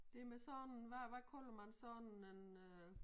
Det med sådan hvad hvad kalder man sådan en øh